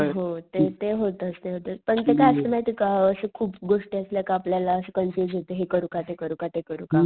हो ते ते होतच ते होतच पण ते काय असत माहितेय का असं खूप गोष्टी असल्या का आपल्याला असं कन्फयुशन हे करू का ते करू का ते करू